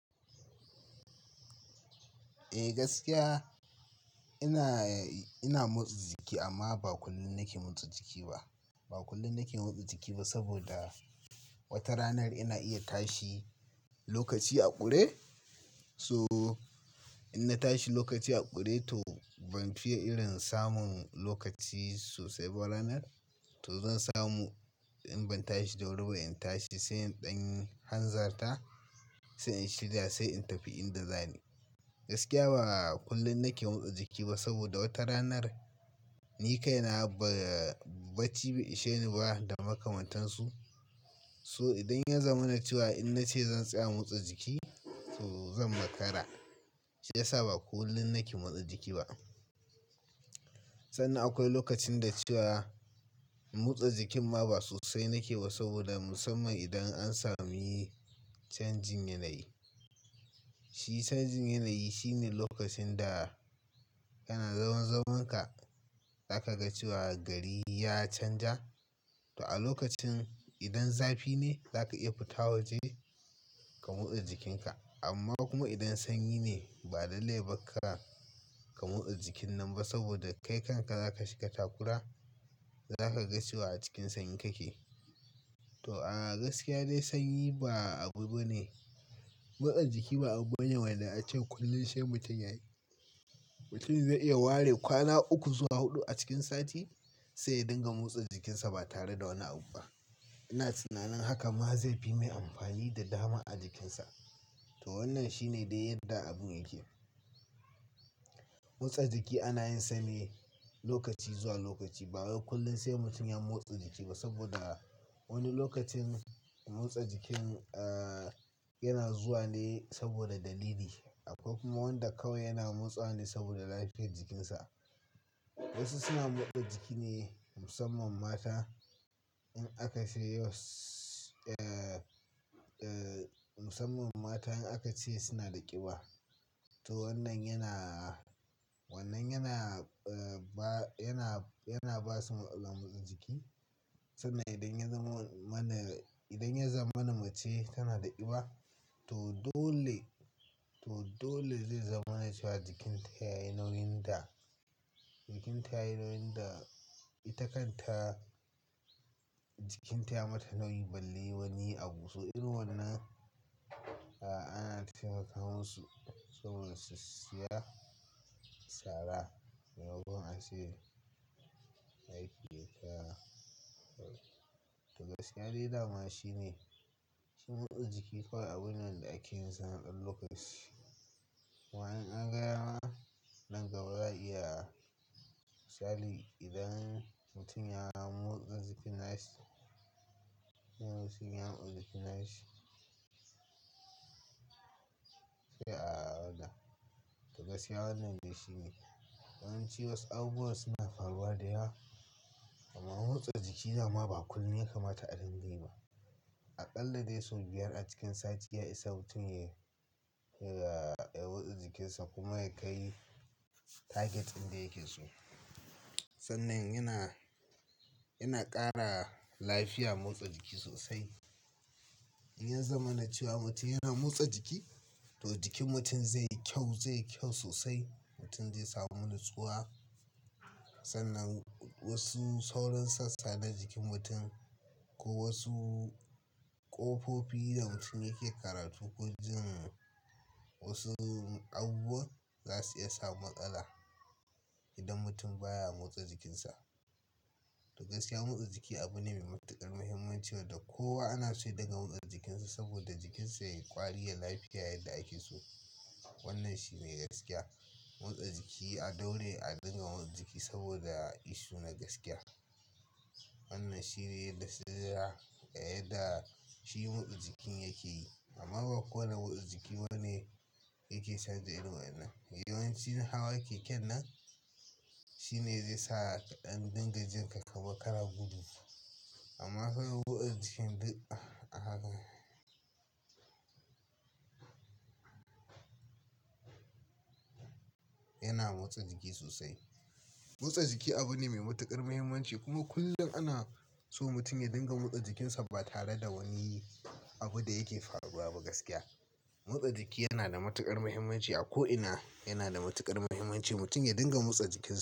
Eh gaskiya ina, ina motsa jiki amma ba kullum nake motsa jiki ba. Ba kullum nake motsa jiki ba saboda wata ranar ina iya tashi lokaci a ƙure. So in na tashi lokaci a ƙure to ban fiye irin samun lokaci sosai ba ranar. To zan samu in ban tashi da wuri ba in tashi sai ɗan hanzarta, sai in shirya sai in tafi inda zani. Gaskiya ba kullum nake motsa jiki ba saboda wata ranar ni kaina ba, bacci bai isheni ba da makamantansu. So idan ya zama na cewa in na ce zan tsaya motsa jiki to zan makara. Shi yasa ba kullum nake motsa jiki ba. Sannan akwai lokacin da cewa motsa jikin ma ba sosai nake ba saboda musamman idan an sami changing yanayi. Shi changing yanayi shine lokacin da kana zaman zamanka za ka ga cewa gari ya canja. To a lokacin idan zafi ne za ka iya fita waje ka motsa jikinka. Amma kuma idan sanyi ne ba dalili ba ka kara ka motsa jikin nan ba saboda kai kanka za ka shiga takura. Za ka ga cewa a cikin sanyi kake. To a'a gaskiya dai sanyi ba abu bane. Motsa jiki ba abu ne wanda an ce kullum sai mutum ya yi. Mutum zai iya ware kwana uku zuwa huɗu a cikin sati sai ya dinga motsa jikinsa ba tare da wani abu ba. Ina tunanin haka ma zai fi mai amfani da dama a jikinsa. To wannan shine dai yadda abun yake. Motsa jiki ana yin sane lokaci zuwa lokaci ba wai kullum sai mutum ya motsa jiki ba saboda wani lokacin motsa jikin, ah, yana zuwa ne saboda dalili. Akwai kuma wanda kawai yana motsa ne saboda lafiyar jikinsa. Wasu suna motsa jiki ne musamman mata in aka ce was, ah, ah, musamman mata in aka ce suna da ƙiba. To wannan yana, wannan yana, ah, ba, yana, yana ba su matsalar motsa jiki. Sannan idan ya zama mana, idan ya zama na mace tana da ƙiba to dole, to dole zai zama na cewa jikinta ya yi nauyin da, jikinta yayi nauyin da ita kanta, jikinta ya mata nauyin balle wani abu. So irin wannan, ah, ana taimaka musu saboda su siya sara da yawa a cewa lafiyata. To gaskiya dai dama shine, shi motsa jiki kawai abune da ake yin sa a dan lokaci. Wa'in an gaya mana nan gaba za'a iya misali idan mutum ya motsa jikin nasu, sun iya motsa jikin nasu sai a ɗau. To gaskiya wannan dai shine. Yawanci wasu abubuwa suna faruwa da yawa. Amma motsa jiki da ma ba kullum ya kamata a dinga yi ba. A ƙalla dai sau biyar a cikin sati ya isa mutum ya, ya, ya motsa jikinsa kuma ya kai target din da yake so. Sannan yana, yana ƙara lafiya motsa jiki sosai. In ya zama na cewa mutum yana motsa jiki to jikin mutum zai yi kyau, zai yi kyau sosai. Mutum zai samu nutsuwa. Sannan wasu sauran sassa na jikin mutum ko wasu ƙofofi da mutum yake karatu ko jin wasu abubuwa za su iya sa matsala idan mutum baya motsa jikinsa. To gaskiya motsa jiki abu ne mai matuƙar muhimmanci wanda kowa ana so ya dinga motsa jikinsa saboda jikinsa ya yi ƙwari, ya yi lafiya yadda ake so. Wannan shi ne gaskiya. Motsa jiki a daure a dinga motsa jiki saboda ishu na gaskiya. Wannan shine yadda sai da yadda shi motsa jikin yake yi. Amma ba kowane motsa jiki bane yake sanja irin wadannan. Yawanci hawaye ke nan shine zai sa an dinga jinka ka makara gudu. Amma kai motsa jikin duk a haka. Yana motsa jiki sosai. Motsa jiki abu ne mai matuƙar muhimmanci kuma kullum ana so mutum ya dinga motsa jikinsa ba tare da wani abu da yake faruwa ba gaskiya. Motsa jiki yana da matuƙar muhimmanci a ko ina. Yana da matuƙar muhimmanci mutum ya dinga motsa jikinsa.